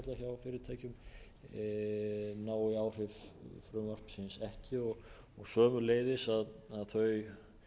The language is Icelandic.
svo má kalla það á fyrirtækjum nái áhrif frumvarpsins ekki og sömuleiðis að þau